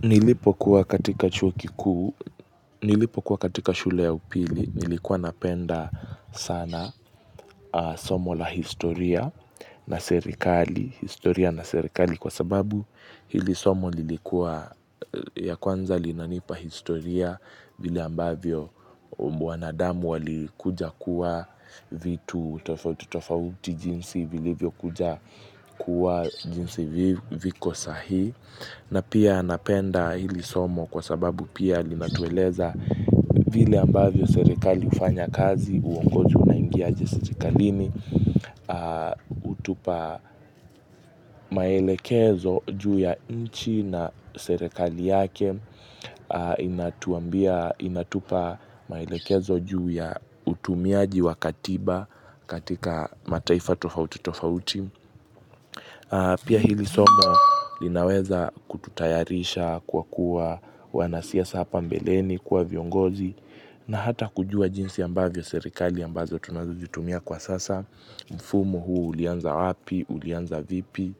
Nilipokuwa katika chuo kikuu, nilipokuwa katika shule ya upili, nilikuwa napenda sana somo la historia na serikali, historia na serikali kwa sababu hili somo lilikuwa ya kwanza linanipa historia vile ambavyo mwanadamu alikuja kuwa vitu tofauti jinsi vilivyo kuja kuwa jinsi viko saa hii. Na pia napenda hili somo kwa sababu pia linatueleza vile ambavyo serikali ufanya kazi, uongozi unaingia aje serikalini, utupa maelekezo juu ya inchi na serekali yake, inatupa maelekezo juu ya utumiaji wa katiba katika mataifa tofauti tofauti. Pia hili somo linaweza kututayarisha kwa kuwa wanasiasa hapa mbeleni kuwa viongozi na hata kujua jinsi ambavyo serikali ambazo tunazujitumia kwa sasa, mfumo huo ulianza wapi, ulianza vipi